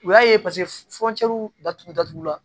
U y'a ye paseke datugu datugulan